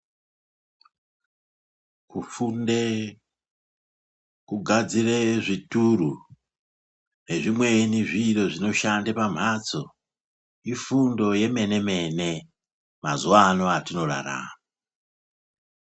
Kufunda kugadzira zvituru nezvimweni zviro zvinoshanda pamhatso. Ifundo yemene mene mazuwa ano atinorarama.